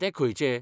तें खंयचें?